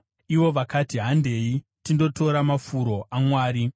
ivo vakati, “Handei tindotora mafuro aMwari.”